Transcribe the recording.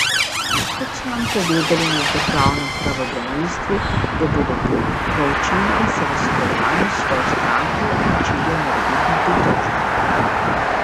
Kot so nam povedali na državnem pravobranilstvu, jo bodo proučili in se v sodelovanju s svojo stranko odločili o morebitni pritožbi.